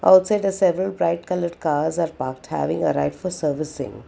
Outside the several bright coloured cars are parked having a right for servicing.